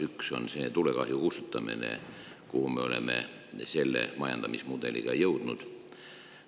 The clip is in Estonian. Üks, kuhu me oleme majandamismudeliga jõudnud, on tulekahju kustutamine.